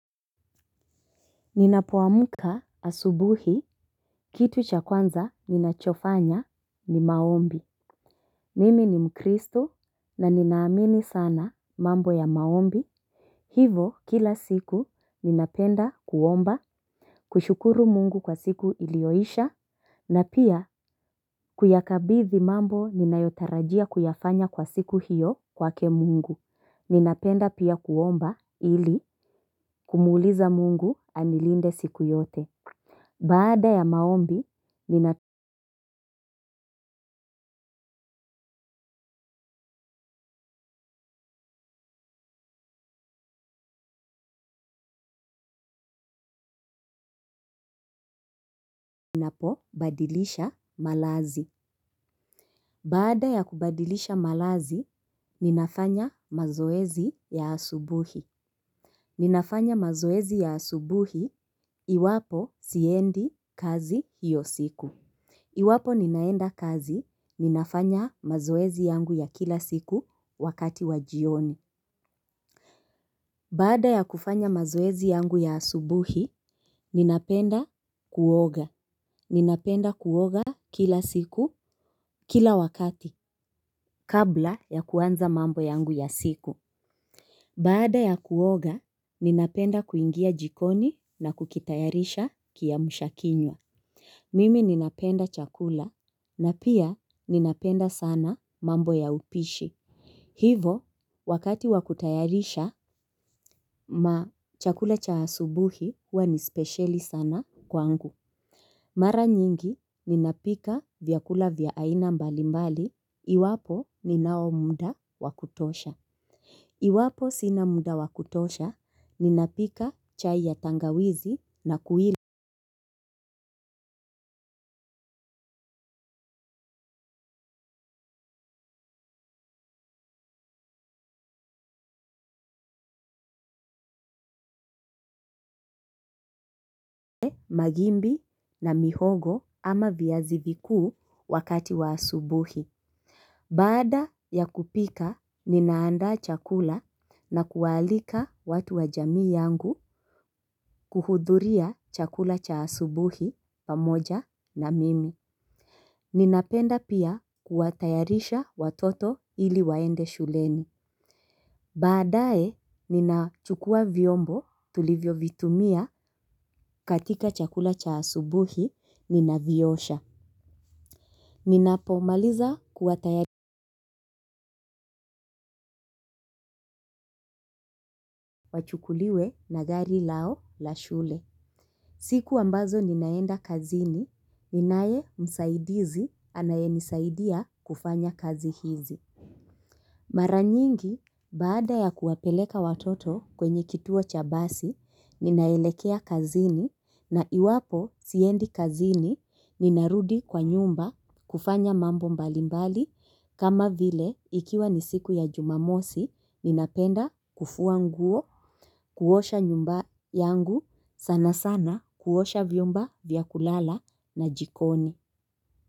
Ninapoamka asubuhi, kitu cha kwanza ninachofanya ni maombi. Mimi ni mkristo na ninaamini sana mambo ya maombi. Hivo kila siku ninapenda kuomba, kushukuru mungu kwa siku iliyoisha. Na pia, kuyakabithi mambo ninayotarajia kuyafanya kwa siku hiyo kwake mungu. Ninapenda pia kuomba ili kumuuliza mungu anilinde siku yote. Baada ya maombi, ninapo badilisha malazi. Baada ya kubadilisha malazi, ninafanya mazoezi ya asubuhi. Ninafanya mazoezi ya asubuhi, iwapo siendi kazi hiyo siku. Iwapo ninaenda kazi, ninafanya mazoezi yangu ya kila siku wakati wa jioni. Baada ya kufanya mazoezi yangu ya asubuhi, ninapenda kuoga. Ninapenda kuoga kila siku, kila wakati, kabla ya kuanza mambo yangu ya siku. Baada ya kuoga, ninapenda kuingia jikoni na kukitayarisha kiamsha kinywa. Mimi ninapenda chakula na pia ninapenda sana mambo ya upishi. Hivo, wakati wa kutayarisha, ma chakula cha asubuhi huwa ni speciali sana kwangu. Mara nyingi ninapika vyakula vya ina mbali mbali, iwapo ninao muda wa kutosha. Iwapo sina muda wa kutosha, ninapika chai ya tangawizi na kuila. Magimbi na mihogo ama viazi vikuu wakati wa asubuhi. Baada ya kupika, ninaandaa chakula na kuwaalika watu wa jamii yangu kuhudhuria chakula cha asubuhi pamoja na mimi. Ninapenda pia kuwatayarisha watoto hili waende shuleni. Baadaye ninachukua vyombo tulivyo vitumia katika chakula cha asubuhi ninaviosha ninapo maliza kuwatayari. Wachukuliwe na gari lao la shule. Siku ambazo ninaenda kazini ninaye msaidizi anaye nisaidia kufanya kazi hizi. Mara nyingi baada ya kuwapeleka watoto kwenye kituo cha basi ninaelekea kazini na iwapo siendi kazini ninarudi kwa nyumba kufanya mambo mbalimbali kama vile ikiwa ni siku ya jumamosi ninapenda kufua nguo kuosha nyumba yangu sana sana kuosha vyumba vya kulala na jikoni.